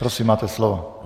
Prosím, máte slovo.